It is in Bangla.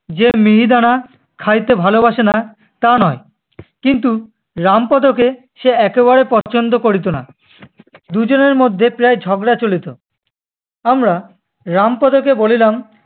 যে মিহিদানা খাইতে ভালোবাসে না তা নয়, কিন্তু রামপদোকে সে একেবারে পছন্দ করিত না। দু'জনের মধ্যে প্রায় ঝগড়া চলিত। আমরা রামপদো কে বলিলাম-